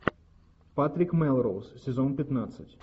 патрик мелроуз сезон пятнадцать